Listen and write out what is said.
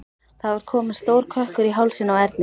Það var kominn stór kökkur í hálsinn á Erni.